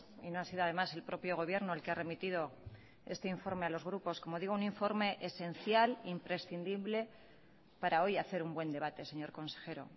y no ha sido además el propio gobierno el que ha remitido este informe a los grupos como digo un informe esencial imprescindible para hoy hacer un buen debate señor consejero